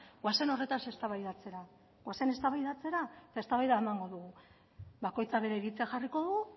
goazen horretaz eztabaidatzera goazen eztabaidatzera eta eztabaida emango dugu bakoitzak bere iritzia jarriko du